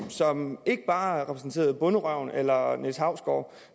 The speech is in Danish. så man ikke bare blev repræsenteret af bonderøven eller niels hausgaard